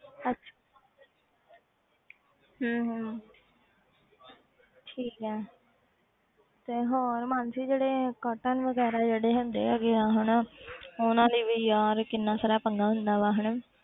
ਅੱਛਾ ਹਮ ਹਮ ਠੀਕ ਹੈ ਤੇ ਹੋਰ ਮਾਨਸੀ ਜਿਹੜੇ curtain ਵਗ਼ੈਰਾ ਜਿਹੜੇ ਹੁੰਦੇ ਹੈਗੇ ਆ ਹਨਾ ਉਹਨਾਂ ਦਾ ਵੀ ਯਾਰ ਕਿੰਨਾ ਸਾਰਾ ਪੰਗਾ ਹੁੰਦਾ ਵਾ ਹਨਾ